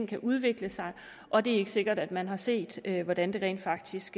kan udvikle sig og det er ikke sikkert at man har set hvordan det rent faktisk